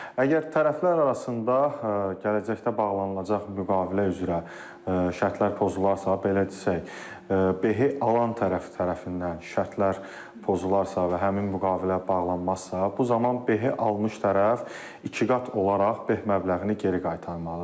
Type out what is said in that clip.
Əgər tərəflər arasında gələcəkdə bağlanılacaq müqavilə üzrə şərtlər pozularsa, belə desək, behi alan tərəf tərəfindən şərtlər pozularsa və həmin müqavilə bağlanmazsa, bu zaman behi almış tərəf ikiqat olaraq beh məbləğini geri qaytarmalıdır.